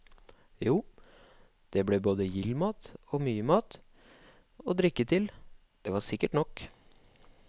Jo, det ble både gild mat og mye mat, og drikke til, det var sikkert nok.